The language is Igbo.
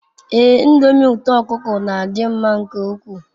Ee ndomi uto okuko n'adi nma nke ukwu